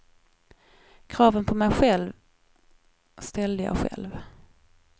Kraven på mig själv ställde jag själv.